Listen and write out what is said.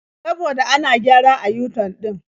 Saboda ana gyara a yu-tan ɗin.